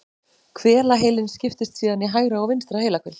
Hvelaheilinn skiptist síðan í hægra og vinstra heilahvel.